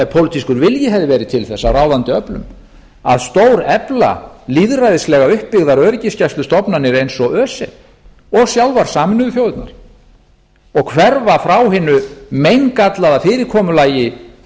ef pólitískur vilji hefði verið til þess af ráðandi öflum að stórefla lýðræðislega uppbyggðar öryggisgæslustofnanir eins og öse og sjálfar sameinuðu þjóðirnar og hverfa frá hinu meingallaða fyrirkomulagi